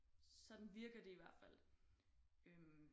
Sådan virker det i hvert fald øh